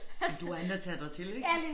Men du har andet at tage dig til ik